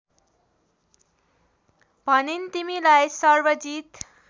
भनिन् तिमीलाई सर्वजित